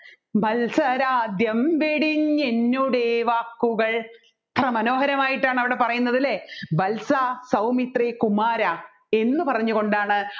വത്സരാദ്യം വെടിഞ്ഞു എന്നുദ്‌വാകുകൾ എത്ര മനോഹരമായിട്ടാണ് അവിടെ പറയുന്നത് അല്ലെ വത്സാ സൗമിത്രേ കുമാരാ എന്ന് പറഞ്ഞു കൊണ്ടാണ്